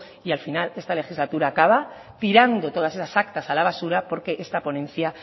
y al final esta legislatura acaba tirando todas esas actas a la basura porque esta ponencia